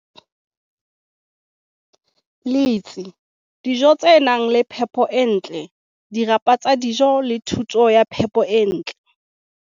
letsi, dijo tse nang le phepo e ntle, dirapa tsa dijo le thuto ya phepo e ntle.